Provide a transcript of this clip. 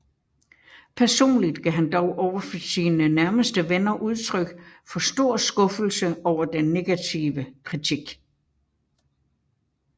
Personligt gav han dog overfor sine nærmeste venner udtryk for stor skuffelse over den negative kritik